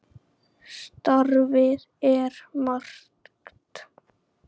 Starfið er margt.